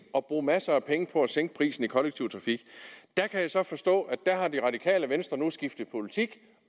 at bruge masser af penge på at sænke prisen i den kollektive trafik jeg kan så forstå at der har det radikale venstre nu skiftet politik